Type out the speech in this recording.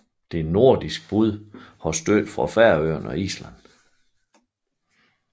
Det nordiske bud har støtte fra Færøerne og Island